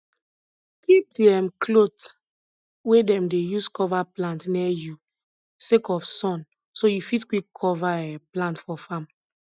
kip di um cloth wey dem dey use cover plant near you sake of sun so you fit quick cover um plant for farm